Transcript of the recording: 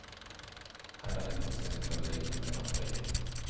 Hädanefter ska ni få lite mera frihet.